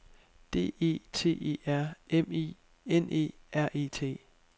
D E T E R M I N E R E T